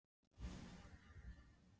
Og nú heyrðist niðurbælt tíst í kvenmanni!